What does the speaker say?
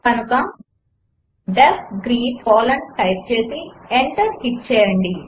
కనుక D E F greet colon type చేసి enter hit చేయండి